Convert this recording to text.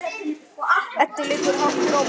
Eddu liggur hátt rómur.